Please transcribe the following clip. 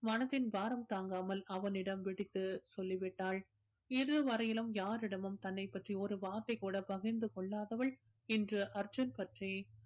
மனதின் பாரம் தாங்காமல் அவனிடம் வெடித்து சொல்லிவிட்டாள் இது வரையிலும் யாரிடமும் தன்னைப்பற்றி ஒரு வார்த்தை கூட பகிர்ந்து கொள்ளாதவள் இன்று அர்ஜுன் பற்றி